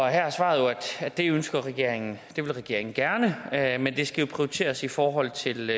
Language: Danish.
her er svaret at det ønsker regeringen det vil regeringen gerne men det skal jo prioriteres i forhold til